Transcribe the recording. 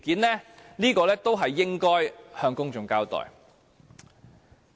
這些都應該向公眾交代。